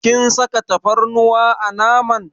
Kin saka tafarnuwa a naman.